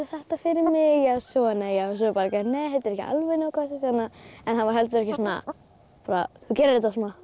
þetta fyrir mig já svona já nei þetta er ekki alveg nógu gott en hann var heldur ekki þú gerir þetta svona